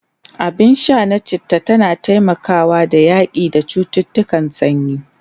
abun Sha na chitta tana taimakawa da yaƙi da cuttutukan sanyi